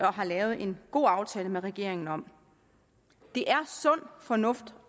har lavet en god aftale med regeringen om det er sund fornuft